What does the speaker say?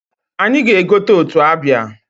Anyị ga-egota otu abịa.